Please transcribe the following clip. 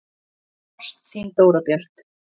Ást, þín Dóra Björt.